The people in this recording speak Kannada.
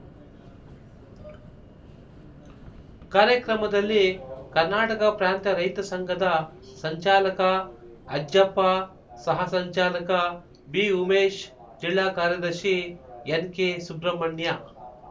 ಕಾರ್ಯಕ್ರಮದಲ್ಲಿ ಕರ್ನಾಟಕ ಪ್ರಾಂತ ರೈತ ಸಂಘದ ಸಂಚಾಲಕ ಅಜ್ಜಪ್ಪ ಸಹ ಸಂಚಾಲಕ ಬಿಉಮೇಶ್ ಜಿಲ್ಲಾ ಕಾರ್ಯದರ್ಶಿ ಎನ್ಕೆಸುಬ್ರಮಣ್ಯ